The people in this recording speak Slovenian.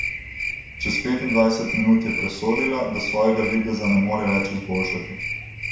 Čez petindvajset minut je presodila, da svojega videza ne more več izboljšati.